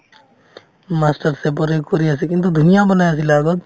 masterchef ৰে কৰি আছে কিন্তু ধুনীয়া বনাই আছিলে আগত